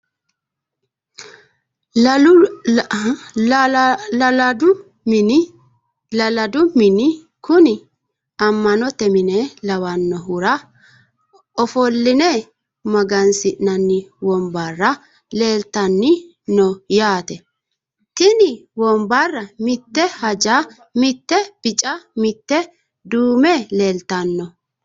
lala'ladu mini kuni amma'note mine lawannohura ofo'line magansi'nanni wombarra leeltanni no yaate, tini wombarra mite haanja mite bica mite duume leeltanno,